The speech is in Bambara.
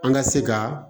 An ka se ka